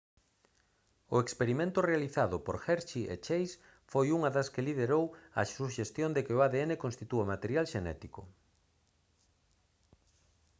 o experimento realizado por hershey e chase foi unha das liderou a suxestión de que o adn constitúe material xenético